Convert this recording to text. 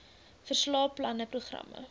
verslae planne programme